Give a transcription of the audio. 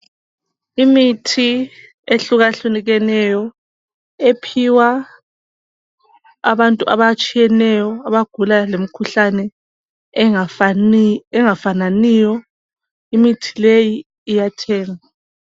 Imithi ehlukahlukeneyo, ephiwa abantu batshiyeneyo abagula ngemkuhlane engafananiyo, imithi leyi iyathengwa